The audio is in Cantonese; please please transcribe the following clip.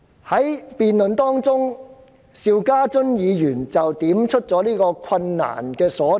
在辯論期間，邵家臻議員點出了困難所在。